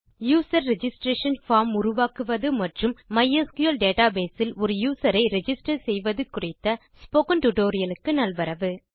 user registration form உருவாக்குவது மற்றும் MySQL database இல் ஒரு யூசர் ஐ ரிஜிஸ்டர் செய்வது குறித்த ஸ்போக்கன் டியூட்டோரியல் க்கு நல்வரவு